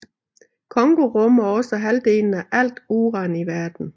Congo rummer også halvdelen af alt uran i verden